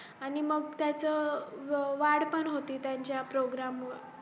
आणि मग त्याच अं वाढ पण होती त्याच्यात program मूळ